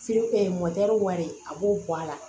wari a b'o bɔ a la